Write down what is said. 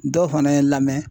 Dɔw fana ye n lamɛ